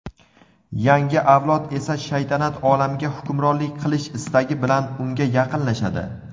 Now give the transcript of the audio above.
Yangi avlod esa shaytanat olamiga hukmronlik qilish istagi bilan unga yaqinlashadi.